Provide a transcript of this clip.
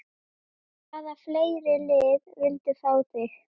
Hvaða fleiri lið vildu fá þig?